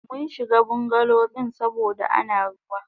Munshiga bungalow din saboda Ana ruwa.